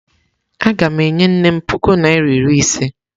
Aga m enye nnem puku naira iri ise.